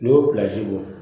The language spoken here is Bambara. N'i y'o bɔ